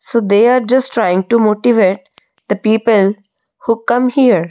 so they are just trying to motivate the people who come here.